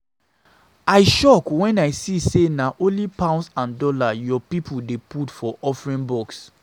I shock wen I see say na only dollar and pound your church people dey put for offering box